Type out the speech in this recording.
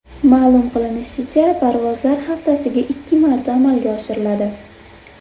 Ma’lum qilinishicha, parvozlar haftasiga ikki marta amalga oshiriladi.